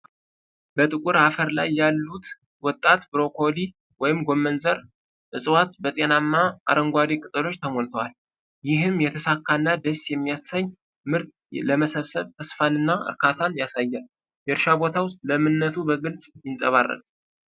በጥቁር አፈር ላይ ያሉት ወጣት ብሮኮሊ (ጎመን ዘር) እፅዋት በጤናማ አረንጓዴ ቅጠሎች ተሞልተዋል። ይህም የተሳካ እና ደስ የሚያሰኝ ምርት ለመሰብሰብ ተስፋንና እርካታን ያሳያል። የእርሻ ቦታው ለምነቱ በግልጽ ይንጸባረቃል።